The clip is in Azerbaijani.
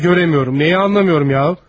Neyi göremiyorum, neyi anlamıyorum ya?